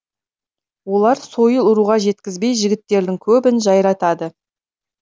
олар сойыл ұруға жеткізбей жігіттердің көбін жайратады